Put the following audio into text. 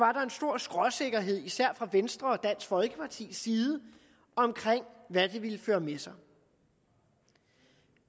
stor skråsikkerhed især fra venstres og dansk folkepartis side om hvad den ville føre med sig